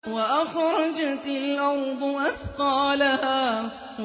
وَأَخْرَجَتِ الْأَرْضُ أَثْقَالَهَا